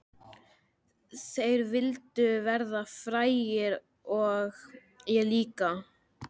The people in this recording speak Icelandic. Þeir vildu verða frægir og ég líka.